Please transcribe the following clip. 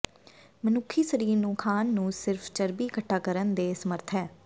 ਮਨੁੱਖੀ ਸਰੀਰ ਨੂੰ ਖਾਣ ਨੂੰ ਸਿਰਫ਼ ਚਰਬੀ ਇਕੱਠਾ ਕਰਨ ਦੇ ਸਮਰੱਥ ਹੈ